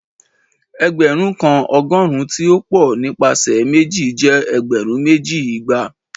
ẹgbẹrun kan ọgọrun ti o pọ nipasẹ meji jẹ ẹgbẹrun meji, igba.